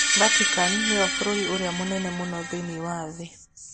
Vatican nĩyo bũrũri ũrĩa mũnini mũno thĩinĩ wa thĩ.